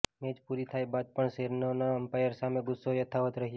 match પૂરી થયા બાદ પણ સેરેનાનો એમ્પાયર સામે ગુસ્સો યથાવત રહ્યો